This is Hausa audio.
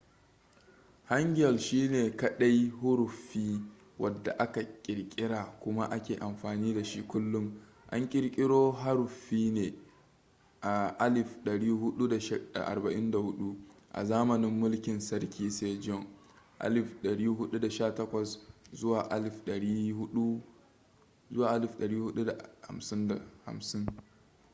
hangeul shine kadai huruffi wadda aka kirkira kuma ake amfani da shi kullum. an kirkiro haruffin ne a 1444 a zamanin mulkin sarki sejong 1418 - 1450